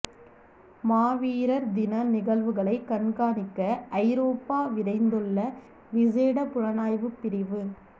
மாவீரர் தின நிகழ்வுகளை கண்காணிக்க ஐரோப்பா விரைந்துள்ள விசேட புலனாய்வுப் பிரிவு